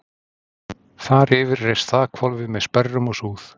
Þar yfir reis þakhvolfið með sperrum og súð.